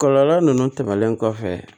Kɔlɔlɔ ninnu tɛmɛnlen kɔfɛ